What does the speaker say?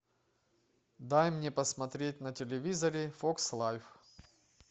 дай мне посмотреть на телевизоре фокс лайф